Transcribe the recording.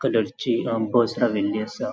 कलर ची अ बस राविल्ली आसा.